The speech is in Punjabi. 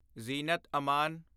ਜ਼ੀਨਤ ਅਮਨ